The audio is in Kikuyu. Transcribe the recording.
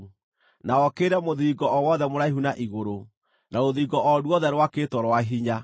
na okĩrĩre mũthiringo o wothe mũraihu na igũrũ na rũthingo o ruothe rwakĩtwo rwa hinya,